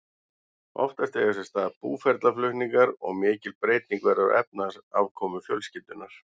Oftast eiga sér stað búferlaflutningar og mikil breyting verður á efnahagsafkomu fjölskyldunnar.